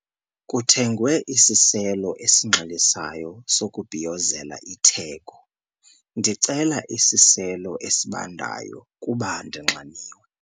Kuthengwe isiselo esinxilisayo sokubhiyozela itheko. ndicela isiselo esibandayo kuba ndinxaniwe